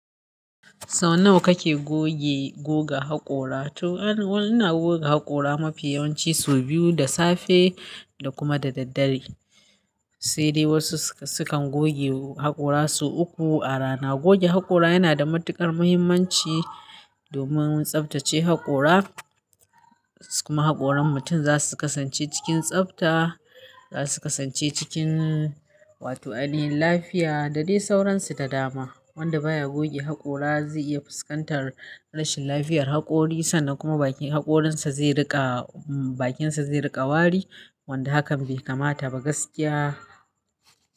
Sau nawa kake goge, goga haƙora? To ain, ina goga haƙora mafi yawanci sau biyu, da safe da kuma da daddare. Sai dai wasu sukan goge haƙora su uku a rana. Goge haƙora yana da matuƙar muhimmanci domin tsaftace haƙora. Kuma haƙoran mutum za su kasance cikin tsafta, za su kasance cikin, wato, ainihin lafiya da dai sauransu ta dama. Wanda baya goge haƙora zai iya fuskantar rashin lafiyar haƙori sannan kuma bakin haƙorinsa zai riƙa, bakinsa zai riƙa wari. Wanda hakan bai kamata ba gaskiya.